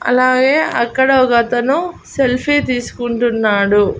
అలాగే అక్కడ ఒగతను సెల్ఫీ తీసుకుంటున్నాడు.